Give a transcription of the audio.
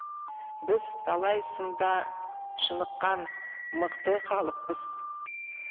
біз талай сында шыныққан мықты халықпыз